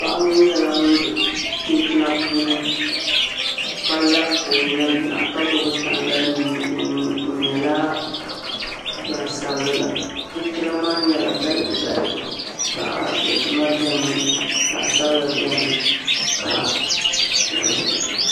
Paɣa ŋo nyɛla ŋun do chinchina puuni ka la ka o nyina yina ka gbubi tangali mii o nuuni o nyɛla gbaŋsabiliga chinchina maa nyɛla balibu balibu zaɣ dozima biɛni zaɣ sabila biɛni ka zaɣ ʒiɛhi biɛni